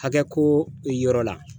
Hakɛ ko yɔrɔ la.